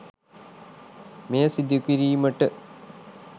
මෙය සිදුකිරීමට